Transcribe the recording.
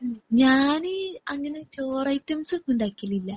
മ് ഞാന് അങ്ങനെ ചോറ് ഐറ്റംസ് ഉണ്ടാക്കിണില്ല.